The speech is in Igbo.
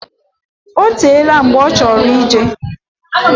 Otela mgbe ochoro ijee.